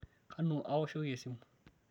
kanu aoshokim esimu